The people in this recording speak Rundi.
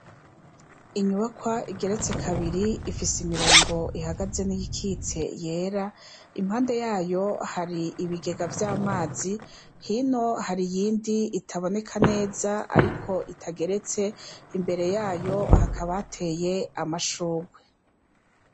Inyubakwa igeretse kabiri, ifise imirongo ihagaze n'iyikitse yera, impande yayo hari ibigega vy'amazi, hino hari iyindi itaboneka neza ariko itageretse, imbere yayo hakaba hateye amashurwe.